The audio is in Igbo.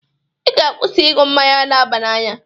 Ị ga-akwụsị iṅụ mmanya n'aba na anya!